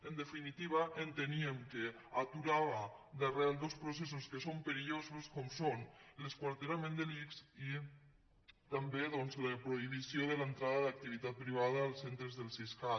en definitiva enteníem que aturava d’arrel dos processos que són perillosos com són l’esquarterament de l’ics i també la prohibició de l’entrada d’activitat privada als centres del siscat